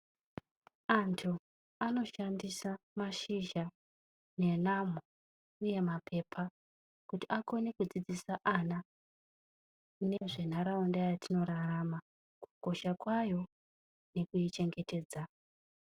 Antu anoshandisa mashizha nenamo uye mapepa kuti akone kudzidzisa ana nezvenharaunda yatinorarama. Kukosha kwayo nekuichengetedza.